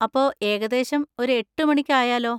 അപ്പോ, ഏകദേശം ഒരു എട്ടുമണിക്ക് ആയാലോ?